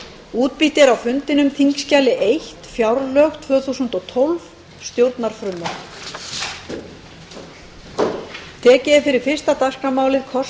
er formaður álfheiður ingadóttir varaformaður og lilja rafney magnúsdóttir ritari frá þingflokki hreyfingarinnar þór saari er formaður margrét tryggvadóttir varaformaður og birgitta jónsdóttir ritari